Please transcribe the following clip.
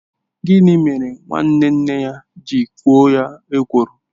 Gịnị mere nwanne nne ya ji ekwo ya ekworo?